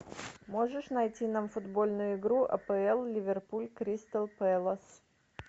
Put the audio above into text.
можешь найти нам футбольную игру апл ливерпуль кристал пэлас